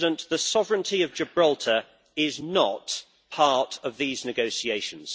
The sovereignty of Gibraltar is not part of these negotiations.